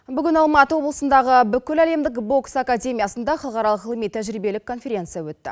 бүгін алматы облысындағы бүкіләлемдік бокс академиясында халықаралық ғылыми тәжірибелік конференция өтті